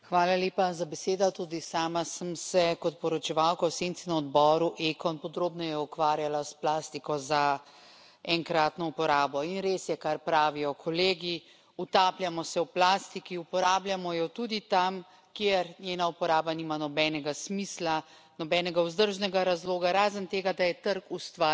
Tudi sama sem se kot poročevalka v senci na odboru ECON podrobneje ukvarjala s plastiko za enkratno uporabo in res je, kar pravijo kolegi utapljamo se v plastiki, uporabljamo jo tudi tam, kjer njena uporaba nima nobenega smisla, nobenega vzdržnega razloga, razen tega da je trg ustvaril to potrebo.